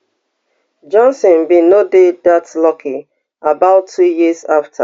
johnson bin no dey dat lucky about two years afta